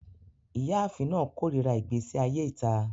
Iyaafin naa korira igbesi aye ita